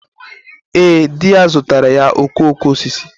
Ee, di ya zụtaara ya okooko osisi.